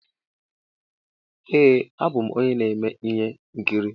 Ee a bụ m onye na-eme ihe nkiri.